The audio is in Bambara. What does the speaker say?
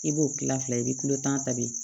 I b'o kila fila ye i bi kilo tan ta bi